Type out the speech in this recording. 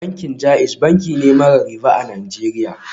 Bankin JAIZ banki ne mara riba a Najeriya